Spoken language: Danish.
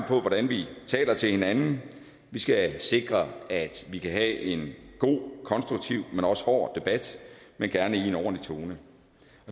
på hvordan vi taler til hinanden vi skal sikre at vi kan have en god og konstruktiv men også hård debat men gerne i en ordentlig tone